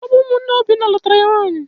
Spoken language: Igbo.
Ọ bụ ụmụnne Obinna nụtara ya nwanyị.